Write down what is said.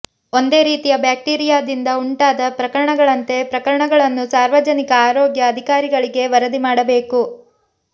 ಒಂದೇ ರೀತಿಯ ಬ್ಯಾಕ್ಟೀರಿಯಾದಿಂದ ಉಂಟಾದ ಪ್ರಕರಣಗಳಂತೆ ಪ್ರಕರಣಗಳನ್ನು ಸಾರ್ವಜನಿಕ ಆರೋಗ್ಯ ಅಧಿಕಾರಿಗಳಿಗೆ ವರದಿ ಮಾಡಬೇಕು